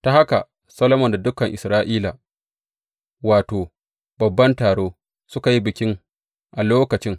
Ta haka Solomon da dukan Isra’ila, wato, babban taro, suka yi bikin a lokacin.